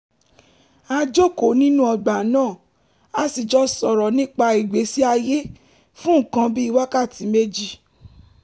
a jókòó nínú ọgbà náà a sì jọ sọ̀rọ̀ nípa ìgbésí ayé fún nǹkan bí wákàtí méjì